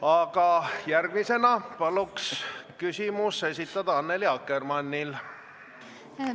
Aga järgmisena palun küsimuse esitada Annely Akkermannil!